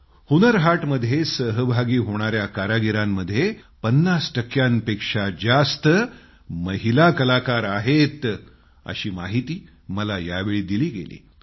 हुन्नर हाटमध्ये सहभागी होणाया कारागिरांमध्ये पन्नास टक्क्यांपेक्षा जास्त महिला कलाकार आहेत अशी माहिती मला यावेळी दिली गेली